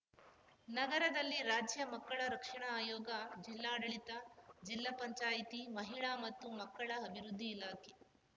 ನಗರದಲ್ಲಿ ರಾಜ್ಯ ಮಕ್ಕಳ ರಕ್ಷಣಾ ಆಯೋಗ ಜಿಲ್ಲಾಡಳಿತ ಜಿಲ್ಲಾ ಪಂಚಾಯಿತಿ ಮಹಿಳಾ ಮತ್ತು ಮಕ್ಕಳ ಅಭಿವೃದ್ಧಿ ಇಲಾಖೆ